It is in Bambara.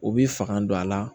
U b'i fanga don a la